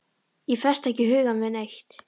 Ég festi ekki hugann við neitt.